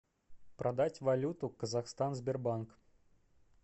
продать валюту казахстан сбербанк